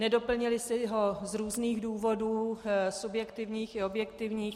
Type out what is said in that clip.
Nedoplnili si ho z různých důvodů - subjektivních i objektivních.